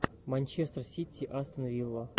манчестер сити астон вилла